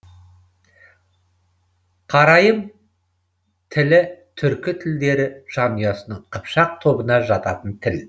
қарайым тілі түркі тілдері жанұясының қыпшақ тобына жататын тіл